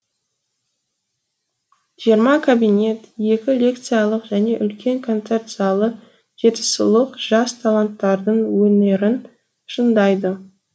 жиырма кабинет екі лекциялық және үлкен концерт залы жетісулық жас таланттардың өнерін шыңдайды